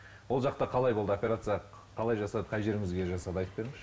ол жақта қалай болды операция қалай жасады қай жеріңізге жасады айтып беріңізші